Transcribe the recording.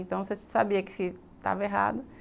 Então, você sabia que estava errado.